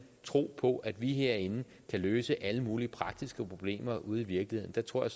tro på at vi herinde kan løse alle mulige praktiske problemer ude i virkeligheden der tror jeg